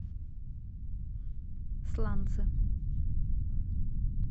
сланцы